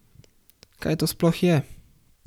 Kaj to sploh je?